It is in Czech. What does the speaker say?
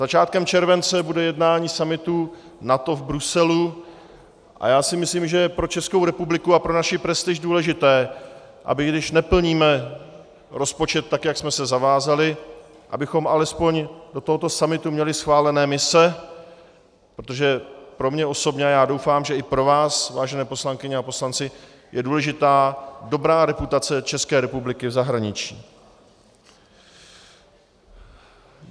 Začátkem července bude jednání summitu NATO v Bruselu a já si myslím, že je pro Českou republiku a pro naši prestiž důležité, aby když neplníme rozpočet tak, jak jsme se zavázali, abychom alespoň do tohoto summitu měli schválené mise, protože pro mě osobně, a já doufám, že i pro vás, vážené poslankyně a poslanci, je důležitá dobrá reputace České republiky v zahraničí.